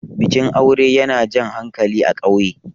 bikin aure yana Jan hankali a ƙauye